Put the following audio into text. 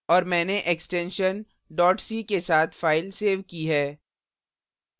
और मैंने extentsion c के साथ file सेव की है